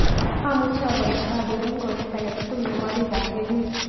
Amuche abol thahabu eng' koreet age tugul ne po biikap emet